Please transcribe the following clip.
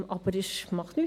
Aber das macht nichts.